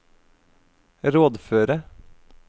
rådføre